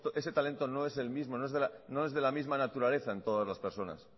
ese talento no es el mismo no es de la misma naturaleza en todas las personas